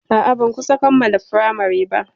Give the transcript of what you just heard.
A'a, ban kusan kammala firamari ba.